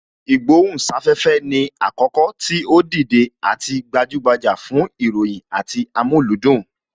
Ìgbohùn sáfẹ́fẹ́ ni àkókò tí ó dìde àti gbajúgbajà fún ìròyìn àti amúlùúdùn